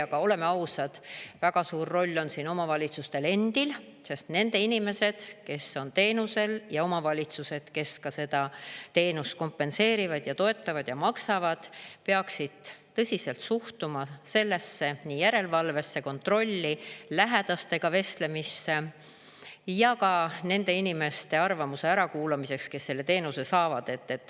Aga oleme ausad, väga suur roll on siin omavalitsustel endil, sest nende inimesed, kes on teenusel, ja omavalitsused, kes seda teenust kompenseerivad ja toetavad ja maksavad, peaksid tõsiselt suhtuma sellesse järelevalvesse, kontrolli, lähedastega vestlemisse ja ka nende inimeste arvamuse ärakuulamisse, kes selle teenuse saavad.